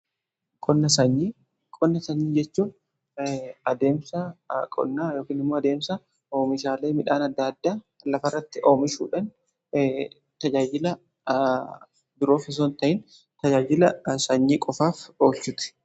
qonna sanyii jechuun adeemsa qonnaa yookiin immoo adeemsa oomishaalee midhaan adda addaa lafa irratti oomishuudhaan tajaajila biroof osoo ta'in tajaajila sanyii qofaaf oolchuti.